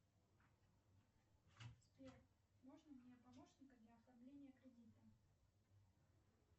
сбер можно мне помощника для оформления кредита